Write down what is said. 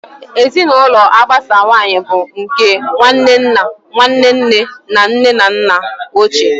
Ezinụlọ agbasawanye bụ nke nwanne nna, Nwanne nne na nne na nna ochie wdg.